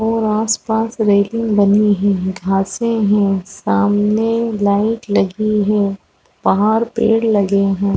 और आस पास रेलिंग बनी हुई है घाँसे है सामने लाइट लगी है पहाड़ पेड़ लगे है।